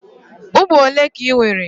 Ụmụ ole ka ị nwere?